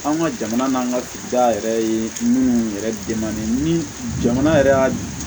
An ka jamana n'an ka sigida yɛrɛ ye minnu yɛrɛ ni jamana yɛrɛ y'a